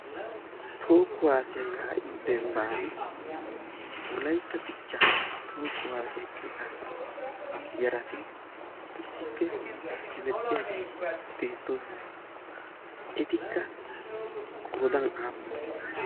tookku haasiyaa kaa'iyo dembban wolaytta dichcha tookku haasiyaa cita yarati issippe hemettiyaageeti beettoosona etikka qoodan aappune?